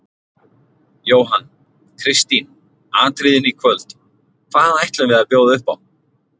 Jóhann: Kristín, atriðin í kvöld, hvað ætlum við að bjóða upp á?